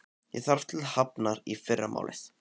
Ég þarf til Hafnar í fyrramálið.